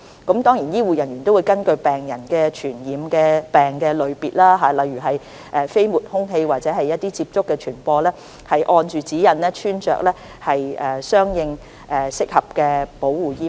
此外，醫護人員亦會根據病人的傳染病類別，例如飛沫、空氣或接觸傳播，按指引穿着適當的保護衣物。